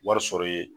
Wari sɔrɔ ye